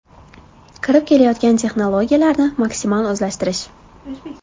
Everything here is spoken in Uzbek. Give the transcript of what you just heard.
Kirib kelayotgan texnologiyalarni maksimal o‘zlashtirish.